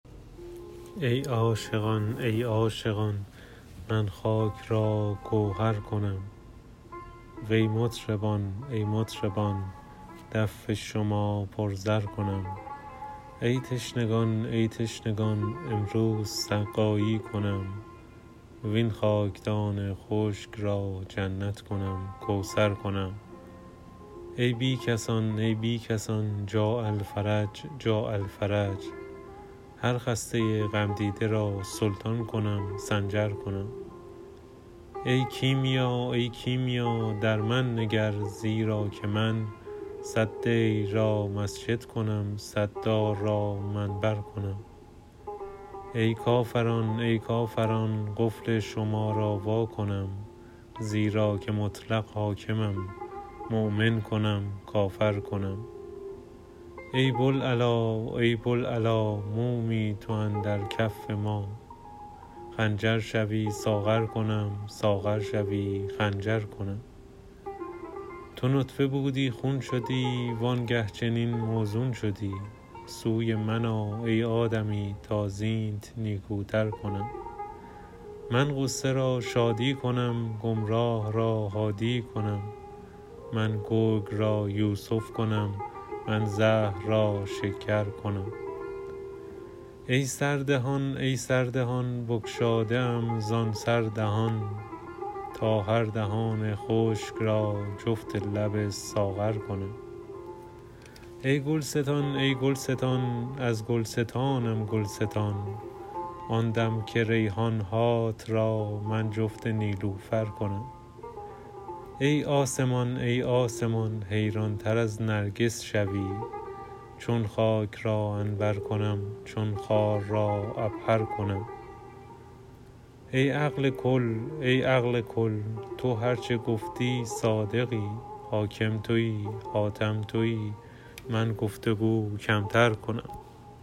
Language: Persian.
ای عاشقان ای عاشقان من خاک را گوهر کنم وی مطربان ای مطربان دف شما پر زر کنم ای تشنگان ای تشنگان امروز سقایی کنم وین خاکدان خشک را جنت کنم کوثر کنم ای بی کسان ای بی کسان جاء الفرج جاء الفرج هر خسته غمدیده را سلطان کنم سنجر کنم ای کیمیا ای کیمیا در من نگر زیرا که من صد دیر را مسجد کنم صد دار را منبر کنم ای کافران ای کافران قفل شما را وا کنم زیرا که مطلق حاکمم مؤمن کنم کافر کنم ای بوالعلا ای بوالعلا مومی تو اندر کف ما خنجر شوی ساغر کنم ساغر شوی خنجر کنم تو نطفه بودی خون شدی وانگه چنین موزون شدی سوی من آ ای آدمی تا زینت نیکوتر کنم من غصه را شادی کنم گمراه را هادی کنم من گرگ را یوسف کنم من زهر را شکر کنم ای سردهان ای سردهان بگشاده ام زان سر دهان تا هر دهان خشک را جفت لب ساغر کنم ای گلستان ای گلستان از گلستانم گل ستان آن دم که ریحان هات را من جفت نیلوفر کنم ای آسمان ای آسمان حیرانتر از نرگس شوی چون خاک را عنبر کنم چون خار را عبهر کنم ای عقل کل ای عقل کل تو هر چه گفتی صادقی حاکم تویی حاتم تویی من گفت و گو کمتر کنم